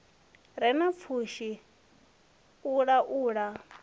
re na pfushi u laula